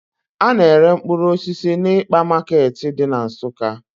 A na-ere mkpụrụ osisi n'ịkpa market dị na Nsukka.